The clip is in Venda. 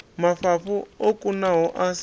mafhafhu o kunaho a si